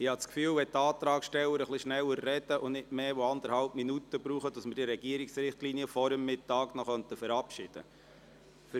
Wenn die Antragsteller schneller sprechen und nicht mehr als anderthalb Minuten benötigen, habe ich den Eindruck, dass wir die Regierungsrichtlinien vor dem Mittag verabschieden können.